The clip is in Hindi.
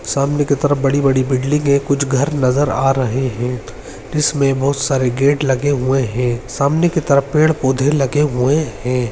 सामने की तरफ बड़ी-बड़ी बिल्डिंग कुछ घर नज़र आ रहें हैं जिस में बहोत सारे गेट लगे हुए हैं सामने की तरफ पेड़-पोधे लगे हुए हैं।